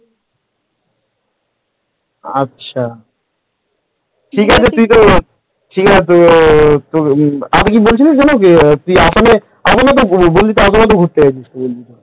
আচ্ছা ঠিক আছে তুই তো ঠিক আছে তুই আর কিছু বলছিলিস যেন তুই আসামে ঘুরতে গিয়েছিলিস আমি কি বলেছি শুনেছিস তো তুই তো আসামে ঘুরতে গিয়েছিলিস?